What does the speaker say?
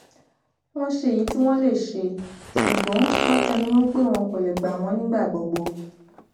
wọn ṣe èyí tí wọn lè ṣe ṣùgbọn wọn tẹnu mọ pé wọn kò lè gba wọn nígbà gbogbo